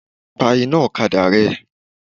Pa iná ọ̀kadà rẹ.